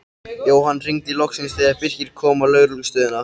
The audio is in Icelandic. Jóhann hringdi loksins þegar Birkir kom á lögreglustöðina.